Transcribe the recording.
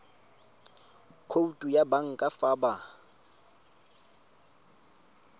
khoutu ya banka fa ba